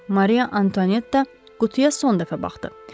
Mariya Antonietta qutuya son dəfə baxdı.